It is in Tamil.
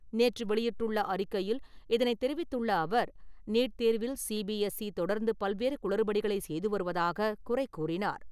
நேற்று வெளியிட்டுள்ள அறிக்கையில் இதனை தெரிவித்துள்ள அவர், நீட் தேர்வில் சி பி எஸ் ஈ தொடர்ந்து பல்வேறு குளறுபடிகளை செய்து வருவதாக குறைகூறினார்.